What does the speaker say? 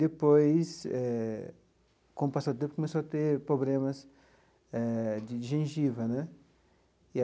Depois eh, com o passar do tempo, começou a ter problemas eh de gengiva né.